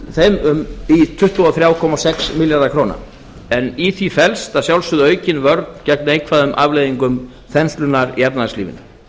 aukast í tuttugu og þrjú komma sex milljarða króna en í því felst aukin vörn gegn neikvæðum afleiðingum þenslunnar í efnahagslífinu